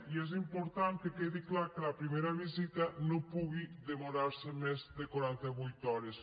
i és important que quedi clar que la primera visita no pugui demorar se més de quaranta vuit hores